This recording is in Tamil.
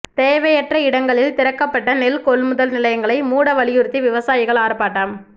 தேவையற்ற இடங்களில் திறக்கப்பட்ட நெல் கொள்முதல் நிலையங்களை மூட வலியுறுத்தி விவசாயிகள் ஆா்ப்பாட்டம்